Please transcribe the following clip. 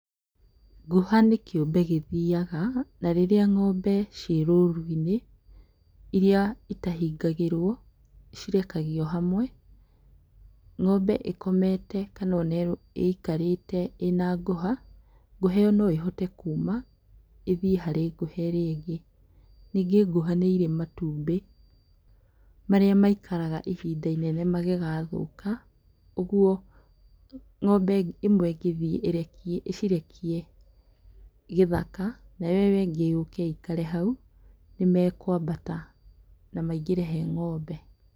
Ngũha nĩ kĩũmbe gĩthiaga, na rĩrĩa ng'ombe ciĩ rũru-inĩ, iria itahingagĩrwo, cirekagio hamwe. Ng'ombe ikomete kana o na ĩikarĩte ĩna ngũha, ngũha ĩyo no ĩhote kuuma, ĩthie harĩ ngũha ĩrĩa ĩngĩ. Ningĩ ngũha nĩ irĩ matumbĩ, marĩa maikaraga ihinda inene magĩgathũka, ũguo ng'ombe ĩmwe ĩngĩthiĩ ĩrekie ĩcirekie gĩthaka, nayo ĩyo ĩngĩ yũke ikare hau, nĩmekũambata na maingĩre he ng'ombe.